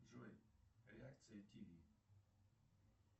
джой реакция тими